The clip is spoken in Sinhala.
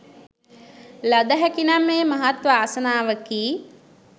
ලද හැකිනම් එය මහත් වාසනාවකි